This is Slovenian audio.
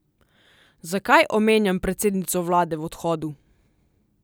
Zakaj omenjam predsednico vlade v odhodu?